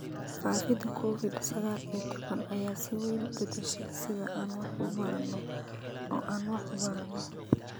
Faafida Covid sagaal iyo tobbaan ayaa si weyn u beddeshay sida aan wax u baranno oo aan wax u baranno.